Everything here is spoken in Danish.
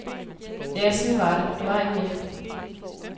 Ja, sådan var det, der var ikke mere.